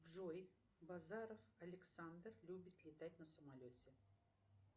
джой базаров александр любит летать на самолете